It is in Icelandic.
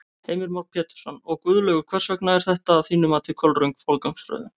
Heimir Már Pétursson: Og Guðlaugur, hvers vegna er þetta að þínu mati kolröng forgangsröðun?